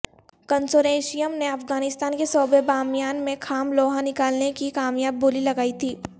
consortium نے افغانستان کے صوبے بامیان میں خام لوہا نکالنے کی کامیاب بولی لگائی تھی